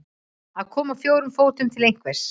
Að koma á fjórum fótum til einhvers